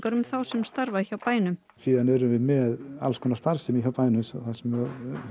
um þá sem starfa hjá bænum síðan erum við með alls konar starfsemi hjá bænum þar sem